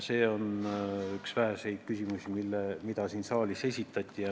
See on üks väheseid küsimusi, mis ka siin saalis esitati.